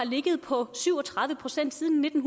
ligget på syv og tredive procent siden nitten